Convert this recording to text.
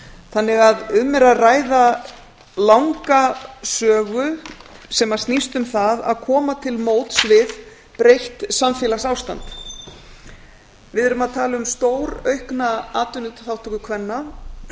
þannig að um er að ræða langa sögu sem snýst um það að koma til móts við breytt samfélagsástand við erum að tala um stóraukna atvinnuþátttöku kvenna